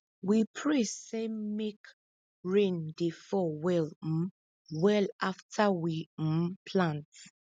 we pray same make rain dey fall well um well after we um plant